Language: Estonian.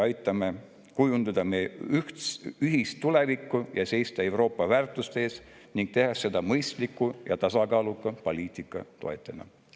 Aitame kujundada meie ühist tulevikku ja seista Euroopa väärtuste eest, tehes seda mõistliku ja tasakaaluka poliitika toetajana.